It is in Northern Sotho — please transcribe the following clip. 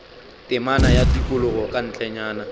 temana ya tikologo ka ntlenyana